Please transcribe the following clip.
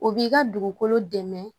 O b'i ka dugukolo dɛmɛ